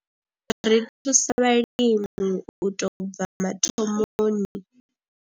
Ri thusa vhalimi u tou bva mathomoni.